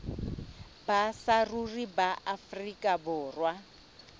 ba saruri ba afrika borwa